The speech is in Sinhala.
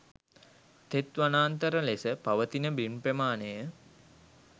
තෙත් වනාන්තර ලෙස පවතින බිම් ප්‍රමාණය